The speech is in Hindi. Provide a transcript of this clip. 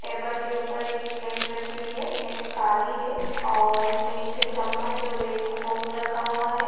टेबल के ऊपर एक प्लेट रखी हुई है प्लेट काली है और इसमें एक चम्मच और एक फोग रखा हुआ हैं ।